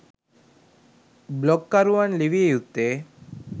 බ්ලොග්කරුවන් ලිවිය යුත්තේ